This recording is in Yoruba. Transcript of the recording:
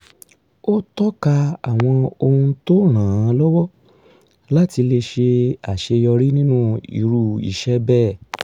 ó tọ́ka àwọn ohun tó ràn án lọ́wọ́ láti ṣe àṣeyọrí nínú irú iṣẹ́ bẹ́ẹ̀